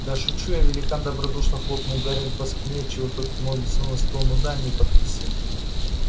да шучу я великан добродушно хлопнул гарри по спине отчего тот ткнулся лицом в стол ну да не подписывал